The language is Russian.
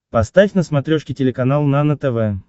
поставь на смотрешке телеканал нано тв